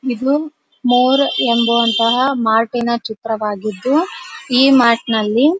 ಇದು ಮೊರ್ ಎಂಬಂತಹ ಮಾರ್ಟಿನ ಚಿತ್ರವಾಗಿದ್ದು ಈ ಮಾರ್ಟ್ನಲ್ಲಿ --